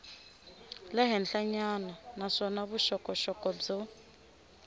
le henhlanyana naswona vuxokoxoko byo